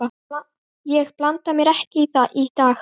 Ég blanda mér ekki í það í dag.